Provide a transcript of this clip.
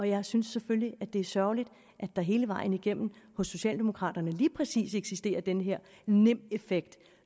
jeg synes selvfølgelig at det er sørgeligt at der hele vejen igennem hos socialdemokraterne lige præcis eksisterer den her nimb effekt